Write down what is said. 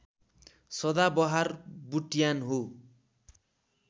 सदाबहार बुट्यान हो